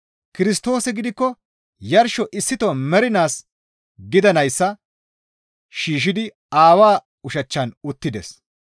Kirstoosi gidikko yarsho issito mernaas gidanayssa shiishshidi Aawaa ushachchan uttides.